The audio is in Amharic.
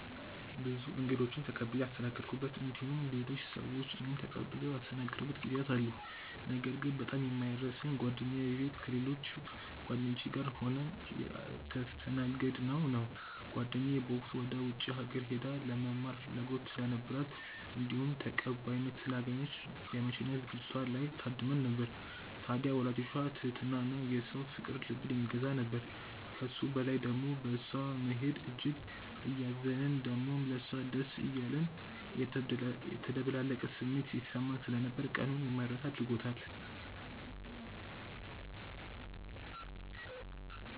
ብዙ እንግዶችን ተቀብዬ ያስተናገድኩበት እንዲሁም ሌሎች ሰዎች እኔን ተቀብለው ያስተናገዱበት ጊዜያት አሉ። ነገር ግን በጣም የማይረሳኝ ጓደኛዬ ቤት ከሌሎች ጓደኞቼ ጋር ሆነን የተስተናገድነው ነው። ጓደኛዬ በወቅቱ ወደ ውጪ ሀገር ሄዳ ለመማር ፍላጎት ስለነበራት እንዲሁም ተቀባይነት ስላገኘች የመሸኛ ዝግጅቷ ላይ ታድመን ነበር። ታድያ የወላጆቿ ትህትና እና የሰው ፍቅር ልብን የሚገዛ ነበር። ከሱ በላይ ደሞ በእሷ መሄድ እጅግ እያዘንን ደሞም ለሷ ደስ እያለን የተደበላለቀ ስሜት ሲሰማን ስለነበር ቀኑን የማይረሳ አድርጎታል።